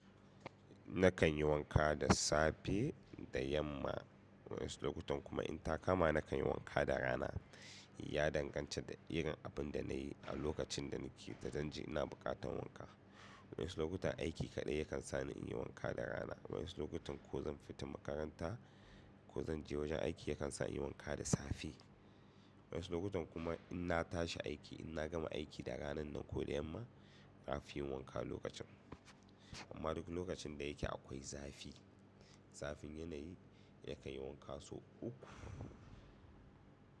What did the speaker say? Nakan yi wanka da safe da yamma. Waɗansu lokutan kuma in ta kama nakan yi wanka da rana. Ya danganta da irin abunda nayi a lokacin da nake da zanje ina buƙatan wanka. Wani lokutan aiki kaɗai yakan sani inyi wanka da rana. Wani lokutan ko zan fita makaranta ko zan je wajen aiki yakan sa inyi wanka da safe. Wani lokutan kuma inna tashi aiki inna gama aiki da ranan nan ko da yamma nafiyin wanka lokacin. Amma duk lokacin da yake akwai zafi. Zafin yanayi yakan yi wanka sau uku.